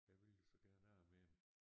Jeg vil jo så gerne af med dem